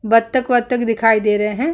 बतक-वतक दिखाई दे रहे है।